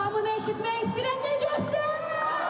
Hamı nə eşitmək istəyirəm, necəsiniz?!